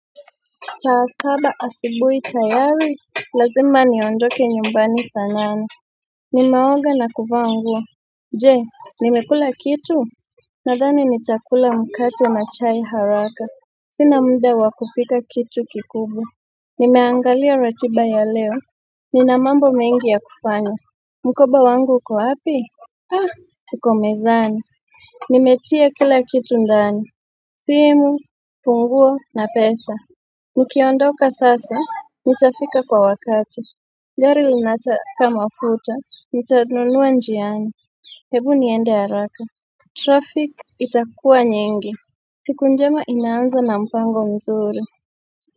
Saa saba asibuhi tayari, lazima niondoke nyumbani saa nane. Ninaoga na kuvaa nguo. Je, nimekula kitu? Nadhani nitakula mkate na chai haraka. Sina mda wa kupika kitu kikubwa. Nimeangalia ratiba ya leo. Nina mambo mingi ya kufanya. Mkoba wangu uko wapi? Ha, iko mezani. Nimetia kila kitu ndani. Simu, funguo na pesa. Nikiondoka sasa nitafika kwa wakati gari linataka mafuta nitanunua njiani hebu niende haraka traffic itakuwa nyingi siku njema inaanza na mpango mzuri.